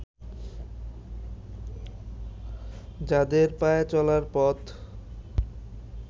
যাদের পায়ে চলার পথ